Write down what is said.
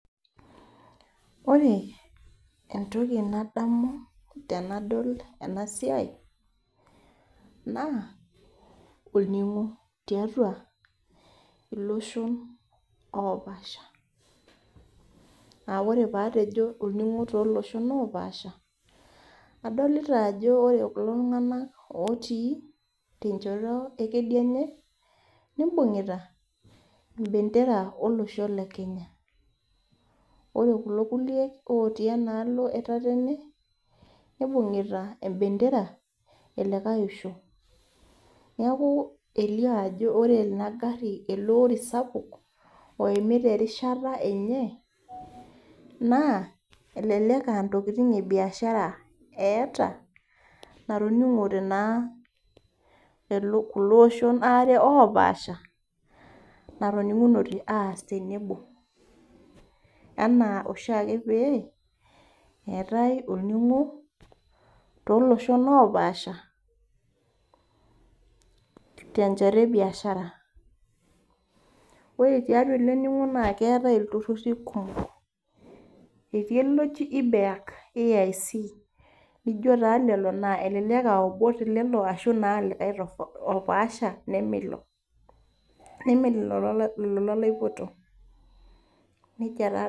Ore entoki nadamu tenadol ena siai naa orningo tiatua loshon oopasha.aa ore pee atejo olningo tooloshon oopasha adolita ajo ore kulo tunganak otii tenchoto ekedienye nibungita embendera olosho lekenya .ore kulo otii ena alo etatene nibungita embendera elikae osho. neeku kitodolu ajo ore ele ori oimita erishata enye ,na elelek ee ntokiting ebiashara eeta natoningote naa natoningunote kulo oshon waare oopasha natoningunote aas tenebo enaa oshiake eetae olningo tiatua loshon oopaasha tenchoto ebiashara ,ore tele ningo naa keetae iltururi kumok naijo taata ibeak aibc naijo taa lelo ashu likae naa opaasha leme ilo tooleleo laipoto.